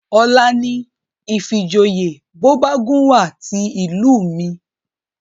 Ọ̀la ni ìfijoyè bọ́bagúnwà ti ìlú mi